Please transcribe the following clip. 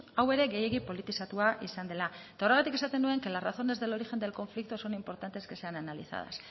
hau ere gehiegi politizatua izan dela horregatik esaten nuen que las razones del origen del conflicto son importantes que sean analizadas